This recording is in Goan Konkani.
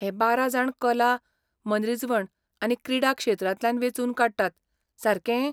हे बारा जाण कला, मनरिजवण आनी क्रीडा क्षेत्रांतल्यान वेंचून काडटात, सारकें?